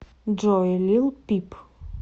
джой лил пип